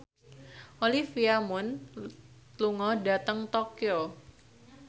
Olivia Munn lunga dhateng Tokyo